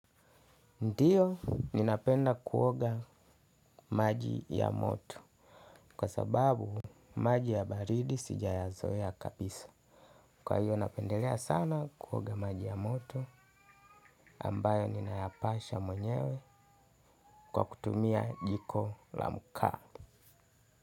Ndio ninapenda kuoga maji ya moto kwa sababu maji ya baridi sijaya zoea kabisa. Kwa hiyo napendelea sana kuoga maji ya moto ambayo ninayapasha mwenyewe kwa kutumia jiko la makaa.